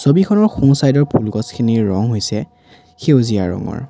ছবিখনৰ সোঁ চাইদ ৰ ফুলগছ খিনিৰ ৰং হৈছে সেউজীয়া ৰঙৰ।